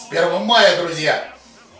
с первомаем друзья